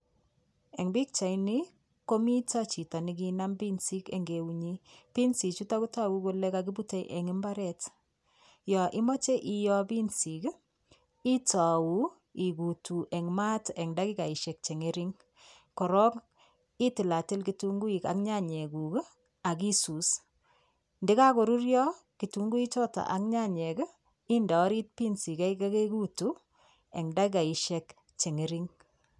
Eng' pikchaini komito chito nekanam pinsik eng' eunyi pinsichuto kotogu kole kakiputei eng' imbaret yo imoche iyoo pinsik itou ikutu eng' eng' daikaishek cheng'ering korok itilatil kitunguik ak nyanyekuk akisus ndikakorurio kitunguichoto ak nyanyek inde orit pinsik kei kekekutu eng' daikaishek cheng'ering